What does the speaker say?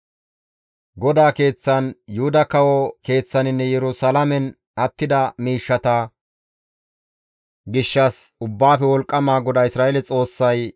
GODAA Keeththan, Yuhuda kawo keeththaninne Yerusalaamen attida miishshata gishshas Ubbaafe Wolqqama GODAA Isra7eele Xoossay,